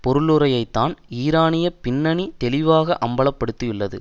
பொருளுரையைத்தான் ஈரானிய பின்னணி தெளிவாக அம்பல படுத்தியுள்ளது